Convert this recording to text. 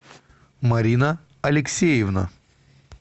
марина алексеевна